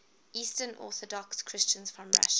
eastern orthodox christians from russia